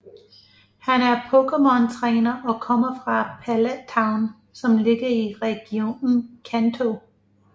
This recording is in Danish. Han er pokémontræner og kommer fra Pallet Town som ligger i regionen Kanto